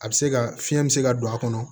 A bɛ se ka fiɲɛ bɛ se ka don a kɔnɔ